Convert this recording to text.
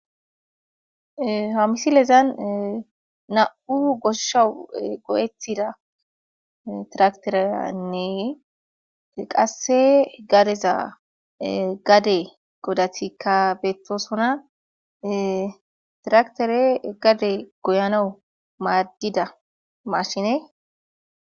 H misilezan nam'u gosha go'etida trakitetenne qase gadeza gade gidatika betosona, trakitrey gade goyanawu madida mashine